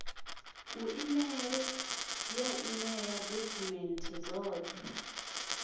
kiḽeima ya emia dokhumenthe dzoṱhe